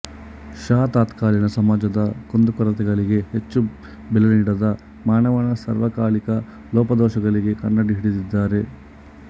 ಷಾ ತತ್ಕಾಲೀನ ಸಮಾಜದ ಕುಂದುಕೊರತೆಗಳಿಗೆ ಹೆಚ್ಚು ಬೆಲೆನೀಡದೆ ಮಾನವನ ಸಾರ್ವಕಾಲಿಕ ಲೋಪದೋಷಳಿಗೆ ಕನ್ನಡಿ ಹಿಡಿದಿದ್ದಾರೆ